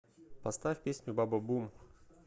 поставь песню бабабум